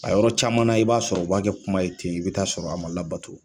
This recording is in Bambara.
A yɔrɔ caman na i b'a sɔrɔ a kɛ kuma ye ten, i bi taa sɔrɔ a ma labato